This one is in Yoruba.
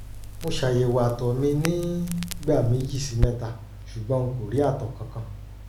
mo ṣayẹwo àtọ̀ mi nígbà méjì sí mẹ́ta ṣùgbọ́n n kò rí àtọ̀ kankan